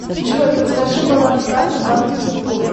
джой подскажи баланс карты банка тинькофф